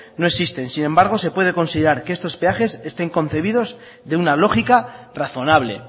no existen sin embargo se puede considerar que estos peajes estén concebidos de una lógica razonable